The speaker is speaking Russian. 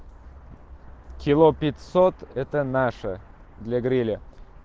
кило пятьсот это наше для гриля